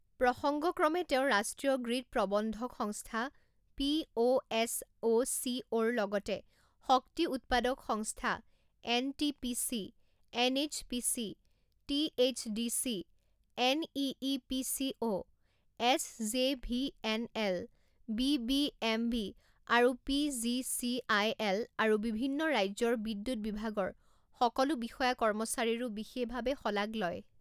প্ৰসংগক্ৰমে তেওঁ ৰাষ্ট্ৰীয় গ্ৰীড প্ৰবন্ধক সংস্থা পিঅএছঅচিঅ ৰ লগতে শক্তি উত্পাদক সংস্থা NTPC, NHPC, THDC, NEEPCO, SJVNL, BBMB আৰু পিজিচিআইএল আৰু বিভিন্ন ৰাজ্যৰ বিদ্যুত বিভাগৰ সকলো বিষয়া কৰ্মচাৰীৰো বিশেষ ভাবে শলাগ লয়।